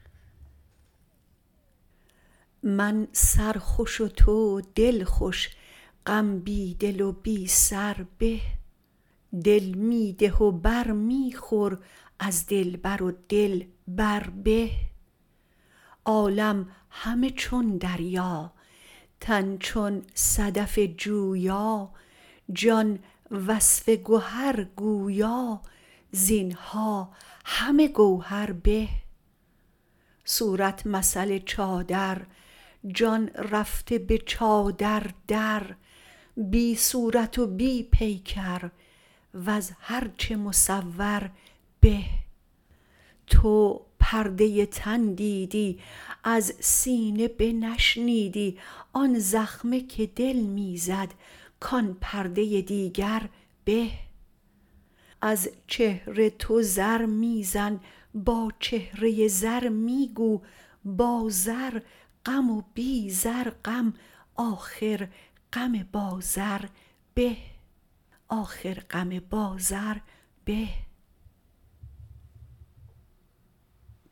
من سرخوش و تو دلخوش غم بی دل و بی سر به دل می ده و بر می خور از دلبر و دل بر به عالم همه چون دریا تن چون صدف جویا جان وصف گهر گویا زین ها همه گوهر به صورت مثل چادر جان رفته به چادر در بی صورت و بی پیکر وز هر چه مصور به تو پرده تن دیدی از سینه بنشنیدی آن زخمه که دل می زد کان پرده دیگر به از چهره تو زر می زن با چهره زر می گو با زر غم و بی زر غم آخر غم با زر به